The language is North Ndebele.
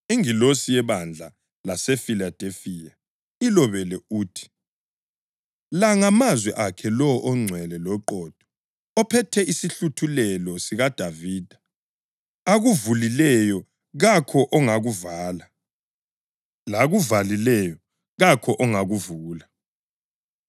“Ingilosi yebandla laseFiladelifiya ilobele uthi: La ngamazwi akhe lowo ongcwele loqotho, ophethe isihluthulelo sikaDavida. Akuvulileyo kakho ongakuvala; lakuvalileyo kakho ongakuvula.